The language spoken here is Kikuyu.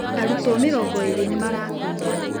Arutwo mĩrongo ĩĩrĩ nĩ marakuire.